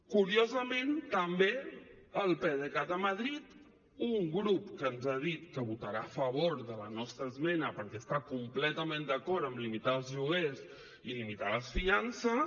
curiosament també el pdecat a madrid un grup que ens ha dit que votarà a favor de la nostra esmena perquè està completament d’acord en limitar els lloguers i limitar les fiances